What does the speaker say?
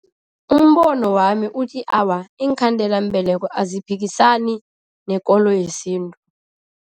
Umbono wami uthi awa, iinkhandelambeleko aziphikisani nekolo yesintu.